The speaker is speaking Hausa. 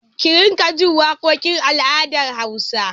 Ki riƙa jin waƙokin al'adar Hausawa!